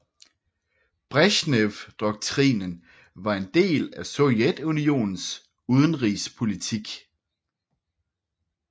Bresjnevdoktrinen var en del af Sovjetunionens udenrigspolitik